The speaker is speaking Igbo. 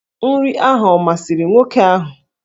Nri ahụ ọ masịrị nwoke ahụ?